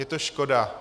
Je to škoda.